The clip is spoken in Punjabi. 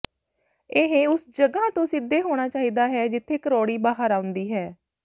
ਇਹ ਉਸ ਜਗ੍ਹਾ ਤੋਂ ਸਿੱਧੇ ਹੋਣਾ ਚਾਹੀਦਾ ਹੈ ਜਿੱਥੇ ਕਰੋਡੀ ਬਾਹਰ ਆਉਂਦੀ ਹੈ